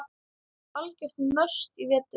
Algjört must í vetur.